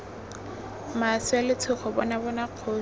maswe letshogo bona bona kgosi